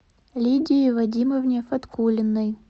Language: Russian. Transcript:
лидии вадимовне фаткуллиной